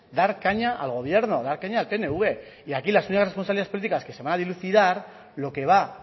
dar caña al gobierno dar caña al pnv y aquí las únicas responsabilidades políticas que se van a dilucidar lo que va